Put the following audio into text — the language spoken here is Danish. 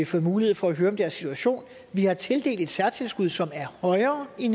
fået mulighed for at høre om deres situation vi har tildelt et særtilskud som er højere i